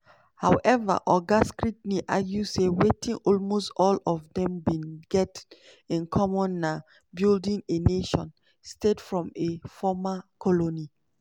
however oga skrentny argue say wetin almost all of dem bin get in common na "building a nation-state from a former colony".